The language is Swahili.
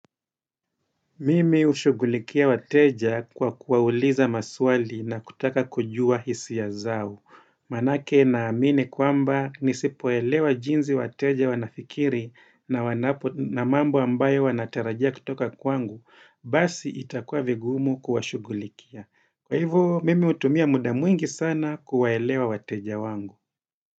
Mimi hushugulikia wateja kwa kuwauliza maswali na kutaka kujua hisia zao. Maanake naamini kwamba nisipoelewa jinsi wateja wanafikiri na wanapo na mambo ambayo wanatarajia kutoka kwangu, basi itakuwa vigumu kuwashugulikia. Kwa hivo, mimi utumia muda mwingi sana kuwaelewa wateja wangu.